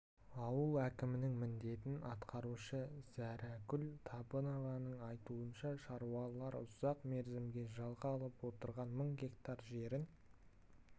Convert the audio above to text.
ауыл әкімінің міндетін атқарушы зәрәгүл табынованың айтуынша шаруалар ұзақ мерзімге жалға алып отырған мың гектар жерін